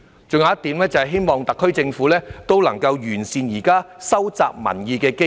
還有一點，是希望特區政府能夠完善現時收集民意的機制。